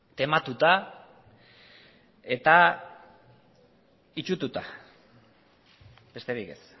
tematuta eta itsututa besterik ez